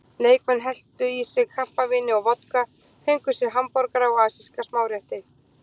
Leikmenn helltu í sig kampavíni og vodka, fengu sér hamborgara og asíska smárétti.